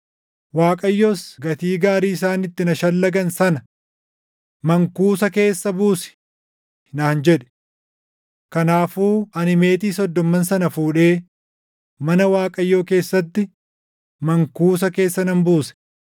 Waaqayyos gatii gaarii isaan itti na shallagan sana, “Mankuusa keessa buusi!” naan jedhe. Kanaafuu ani meetii soddomman sana fuudhee mana Waaqayyoo keessatti mankuusa keessa nan buuse.